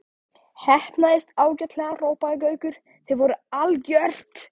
Heppnaðist ágætlega hrópaði Gaukur, þið voruð algjört.